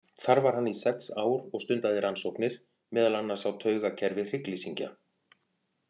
Þar var hann í sex ár og stundaði rannsóknir, meðal annars á taugakerfi hryggleysingja.